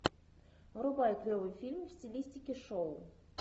врубай клевый фильм в стилистике шоу